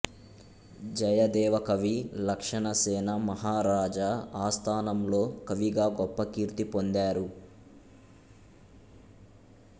జయదేవ కవి లక్షణశేన మహారాజ ఆస్థానంలో కవిగా గొప్ప కీర్తి పొందారు